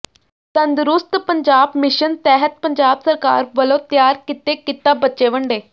ਤੰਦਰੁਸਤ ਪੰਜਾਬ ਮਿਸ਼ਨ ਤਹਿਤ ਪੰਜਾਬ ਸਰਕਾਰ ਵਲੋਂ ਤਿਆਰ ਕੀਤੇ ਕਿਤਾਬਚੇ ਵੰਡੇ